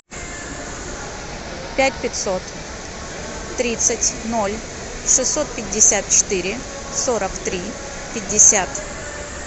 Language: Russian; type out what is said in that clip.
пять пятьсот тридцать ноль шестьсот пятьдесят четыре сорок три пятьдесят